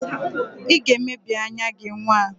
Ị ga-emebi anya gị nwa!